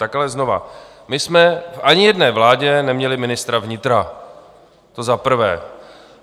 Tak ale znovu: My jsme ani v jedné vládě neměli ministra vnitra, to za prvé.